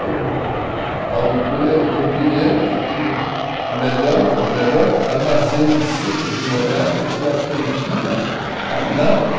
O Paulo Cury era um campineiro que tinha a melhor, o melhor armazém de secos e molhados e atendia a nata.